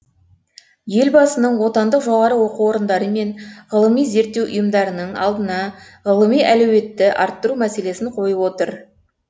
елбасының отандық жоғары оқу орындары мен ғылыми зерттеу ұйымдарының алдына ғылыми әлеуетті арттыру мәселесін қойып отыр